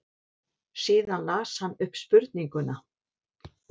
Síðan las hann upp spurninguna.